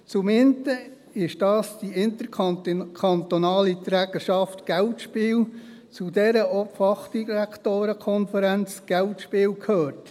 Zum einen war dies die interkantonale Trägerschaft Geldspiele, zu der auch die Fachdirektorenkonferenz Geldspiele gehört.